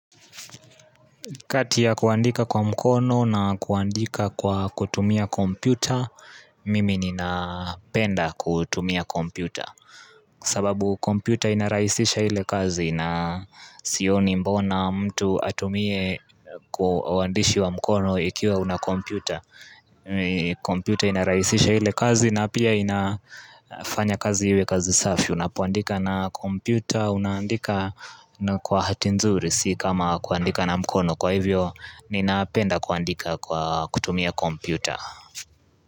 Katia ya kuandika kwa mkono na kuandika kwa kutumia kompyuta, mimi nina penda kutumia kompyuta. Sababu kompyuta inarahisisha ile kazi na sioni mbona mtu atumie kuandishi wa mkono ikiwa una kompyuta. Kompyuta inarahisisha ile kazi na pia inafanya kazi iwe kazi safi. Unapoandika na kompyuta, unandika kwa hati nzuri, si kama kuandika na mkono. Kwa hivyo, ninapenda kuandika kwa kutumia kompyuta.